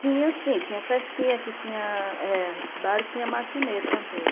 Tinha sim, tinha festinha que tinha, é, os bailes, tinha matinê também.